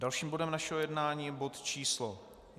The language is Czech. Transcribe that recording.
Dalším bodem našeho jednání je bod číslo